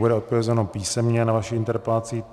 Bude odpovězeno písemně na vaši interpelaci.